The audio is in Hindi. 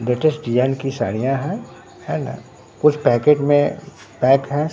लेटेस्ट डिजाइन की साड़ियां हैं है ना कुछ पैकेट में पैक हैं।